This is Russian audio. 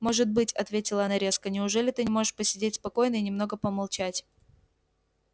может быть ответила она резко неужели ты не можешь посидеть спокойно и немного помолчать